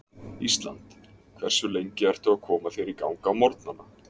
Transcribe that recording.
Ísland Hversu lengi ertu að koma þér í gang á morgnanna?